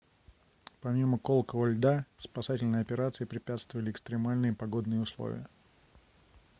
помимо колотого льда спасательной операции препятствовали экстремальные погодные условия